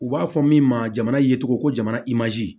U b'a fɔ min ma jamana ye cogo ko jamana i mazi